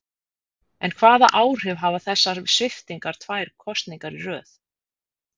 En hvaða áhrif hafa þessar sviptingar tvær kosningar í röð?